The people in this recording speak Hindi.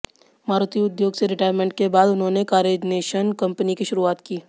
मारुति उद्योग से रिटायरमेंट के बाद उन्होंने कारनेशन कंपनी की शुरुआत की